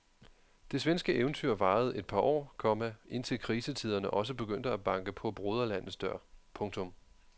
Det svenske eventyr varede et par år, komma indtil krisetiderne også begyndte at banke på broderlandets dør. punktum